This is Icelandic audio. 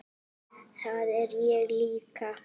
Það er ég líka